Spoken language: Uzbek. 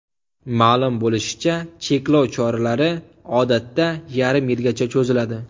Ma’lum bo‘lishicha, cheklov choralari odatda yarim yilga cho‘ziladi.